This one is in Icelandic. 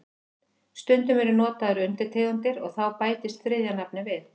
Stundum eru notaðar undirtegundir og þá bætist þriðja nafnið við.